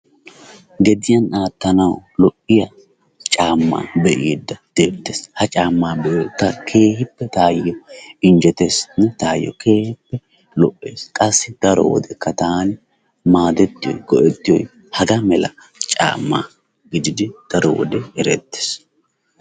Geddiyaan aattanawu lo"iyaa caamma be'iddi deettes. Ha caamma be'yodde taa keehippe taayo injettes taayo keehippe lo"ees qassi daro wode taani maadettiyoy go"ettiyo hegga malla caamay giddidi daro wodde erettes.